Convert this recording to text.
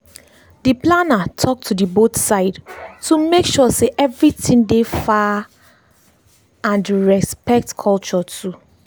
dey planner talk to the both side to make sure sey everything dey far naf and respect culture too.